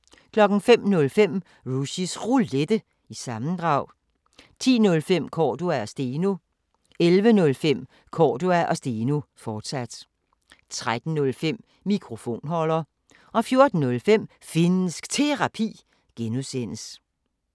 05:05: Rushys Roulette – sammendrag 10:05: Cordua & Steno 11:05: Cordua & Steno, fortsat 13:05: Mikrofonholder 14:05: Finnsk Terapi (G)